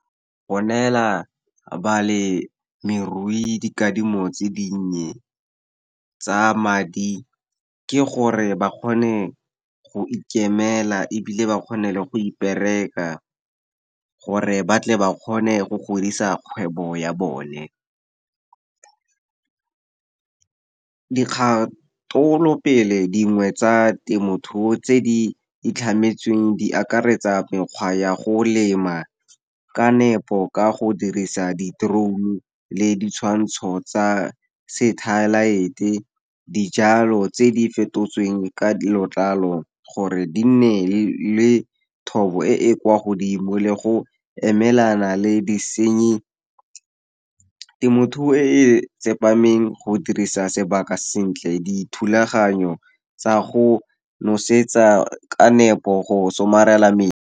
Go neela balemirui dikadimo tse dinnye tsa madi, ke gore ba kgone go ikemela ebile ba kgone le go ipereka, gore ba tle ba kgone go godisa kgwebo ya bone. Dikgatolopele dingwe tsa temothuo, tse di itlhametsweng di akaretsa, mekgwa ya go lema ka nepo ka go dirisa di-drone le ditshwantsho tsa satellite, dijalo tse di fetotsweng ka letlalo, gore di nne le thobo e e kwa godimo, le go emelana le disenyi. Temothuo e e tsepameng, go dirisa sebaka sentle, dithulaganyo tsa go nosetsa ka nepo, go somarela metsi.